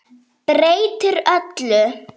Breytir öllu.